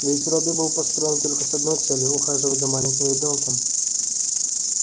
ведь робби был построен только с одной целью ухаживать за маленьким ребёнком